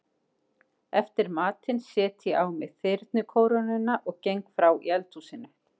Eftir matinn set ég á mig þyrnikórónuna og geng frá í eldhúsinu.